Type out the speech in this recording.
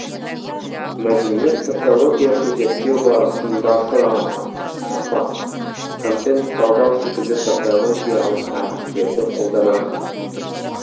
мәдениет социологиясы зерттеу барысында сұрау сұхбат контент талдау секілді социологиялық әдістерді қолданады